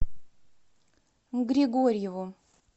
григорьеву